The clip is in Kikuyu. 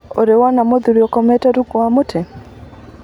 Nĩũrĩ wona mũrũthi ũkomete rungu wa mũtĩ?